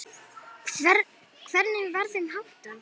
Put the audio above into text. Hvernig var þeim háttað?